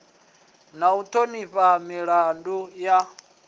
na u thonifha milanga ya